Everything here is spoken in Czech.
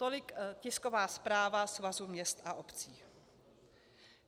Tolik tisková zpráva Svazu měst a obcí.